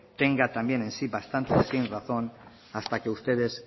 tenga también en sí bastante sinrazón hasta que ustedes